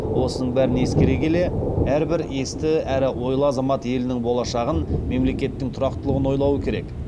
осының бәрін ескере келе әрбір есті әрі ойлы азамат елінің болашағын мемлекеттің тұрақтылығын ойлауы керек